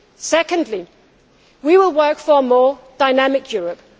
Secondly, we will work for a more dynamic Europe.